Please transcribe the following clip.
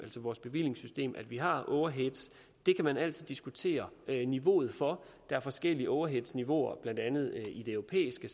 vores bevillingssystem at vi har overheads det kan man altid diskutere niveauet for der er forskellige overheadniveauer blandt andet i det europæiske